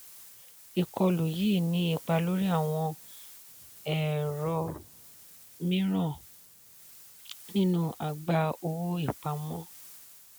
ìkọlù yìí ní ipá lórí àwọn ẹ̀rọ mìíràn nínú àgbá owó-ìpamọ́.